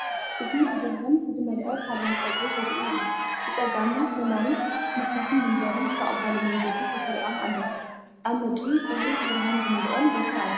እዚ ብብርሃን ዝመልአ ሳሎን ጸጉሪ ዘርኢ'ዩ። ብጸጋምን የማንን መስትያትን መንበርን ብተቐባሊ መንገዲ ተሰሪዖም ኣለዉ። ኣብ ምድሪ ጽሩይን ብርሃን ዝመልኦን ቦታ ኣሎ።